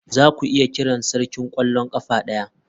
Zaku iya kirana sarkin kwallon kafa daya?